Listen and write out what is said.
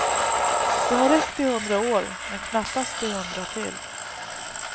Det har räckt i hundra år men knappast i hundra till.